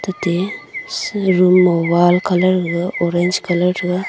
ate shiga room ma wall colour ga orange colour threga.